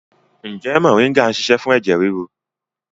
Ǹjẹ́ moringa ń ṣiṣẹ́ fún ẹ̀jẹ̀ ríru?